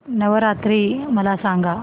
नवरात्री मला सांगा